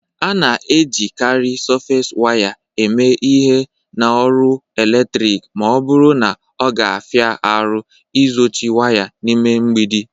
A na-ejikarị Sọfes waya eme ihe na ọrụ eletrik ma ọ bụrụ na ọ ga-afia arụ ịzochi waya n'ime mgbidi.